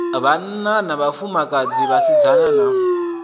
vhanna na vhafumakadzi vhasidzana na